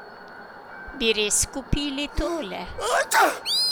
Bi res kupili tole?